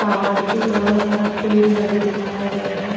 पहाड़ के दोनों तरफ पेड़ लगे दिखाए गए हैं।